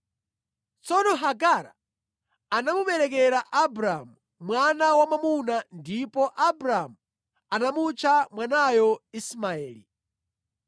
Tsono Hagara anamuberekera Abramu mwana wamwamuna ndipo Abramu anamutcha mwanayo Ismaeli.